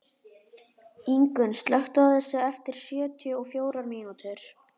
Ingunn, slökktu á þessu eftir sjötíu og fjórar mínútur.